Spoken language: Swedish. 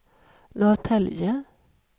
Norrtälje